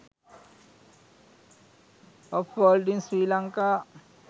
of world in sri lanka